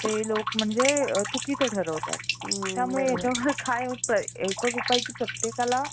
आपल्या आवडी निवडी जर जपल्या आपल्या जे योग्य पध्दतीने येते त्यावरही स्त्रियांनी job लागू शकतो त्यामुळे